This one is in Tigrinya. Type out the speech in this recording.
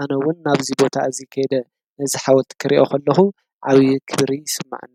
ኣነ ውን ናብዚ ቦታ እዚ ከይደ ነዚ ሓወልቲ ክሪኦ ከለኹ ዓብይ ክብሪ ይስማዓኒ፡፡